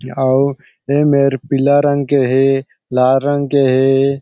अउ ए मेर पीला रंग के हे लाल रंग के हे।